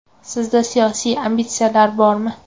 Sizda siyosiy ambitsiyalar bormi?